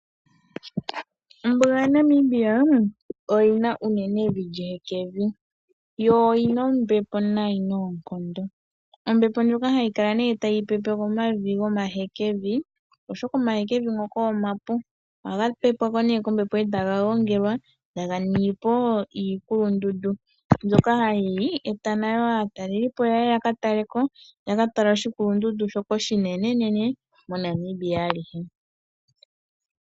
Ombuga yaNamibia oyi na unene evi lyehekevi, yo oyina ombepo nayi noonkondo. Ombepo ndjoka hayi kala nee tayi pepe omavi gomahekevi, oshoka omahekevi ngoka omapu. Ohaga pepwa po nee kombepo e taga gongelwa, taga ningi po iikulundundu mbyoka hayi e ta nayo aataleli po yaye yaka tale ko, yaka tale oshikulundundu shoka oshinenenene moNamibia alihe.